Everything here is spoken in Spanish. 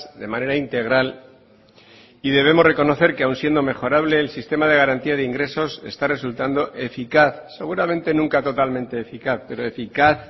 de manera integral y debemos reconocer que aun siendo mejorable el sistema de garantía de ingresos está resultando eficaz seguramente nunca totalmente eficaz pero eficaz